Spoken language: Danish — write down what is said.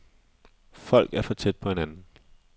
Folk er for tæt på hinanden.